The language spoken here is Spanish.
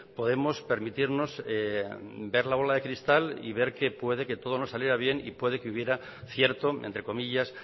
podemos permitirnos ver la bola de cristal y ver que puede que todo no saliera bien y puede que hubiera cierto entre comillas